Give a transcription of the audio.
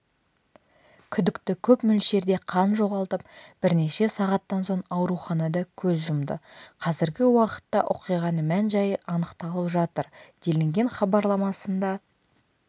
күдікті көп мөлшерде қан жоғалтып бірнеше сағаттан соң ауруханада көз жұмды қазіргі уақытта оқиғаның мән-жайы анықталып жатыр делінген хабарламасында